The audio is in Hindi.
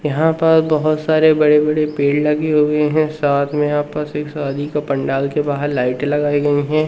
यहां पर बहोत सारे बड़े बड़े पेड़ लगे हुए हैं। साथ में यहां पास एक शादी का पंडाल के बाहर लाइटे लगाई गई है।